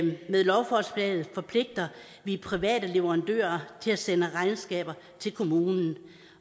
med lovforslaget forpligter vi private leverandører til at sende regnskaber til kommunen